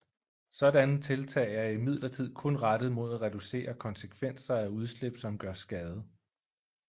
Sådanne tiltag er imidlertid kun rettet mod at reducere konsekvenser af udslip som gør skade